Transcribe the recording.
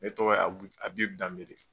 Ne tɔgɔ ye Abib Danbele.